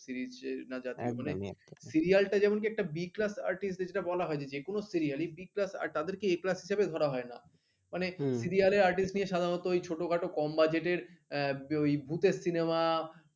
serial যেমন কি একটা b class artist দেরকে বলা হয়নি যে কোন serial b class তাদেরকে a class হিসেবে ধরা হয় না মানে serial artist নিয়ে সাধারণত ওই ছোটখাটো কম budget ওই ভূতের cinema